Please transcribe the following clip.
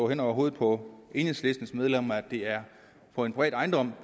hen over hovedet på enhedslistens medlemmer at det er på en privat ejendom